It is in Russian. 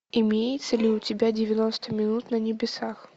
имеется ли у тебя девяносто минут на небесах